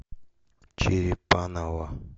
черепаново